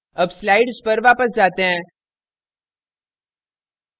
अब slides पर वापस जाते हैं